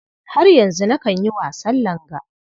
Har yanzu nakan yi wasan langa.